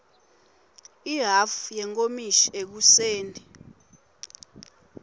ihhafu yenkomishi ekuseni